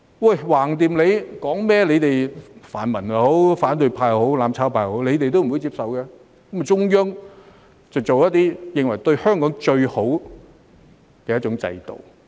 反正說甚麼也好，他們泛民、反對派或"攬炒派"也不會接受，於是中央便提出一種他們認為對香港最好的制度。